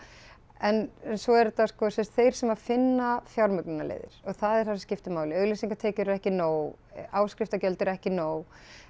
en svo er þetta sem sagt þeir sem finna fjármögnunarleiðir og það er það sem skiptir máli auglýsingatekjur eru ekki nóg áskriftargjöld eru ekki nóg